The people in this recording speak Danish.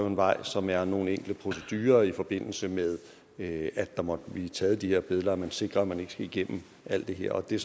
en vej som er nogle enkelte procedurer i forbindelse med at der måtte blive taget de her billeder at man sikrer at man ikke skal igennem alt det her det